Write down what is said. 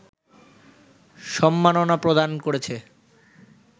সম্মাননা প্রদান করেছে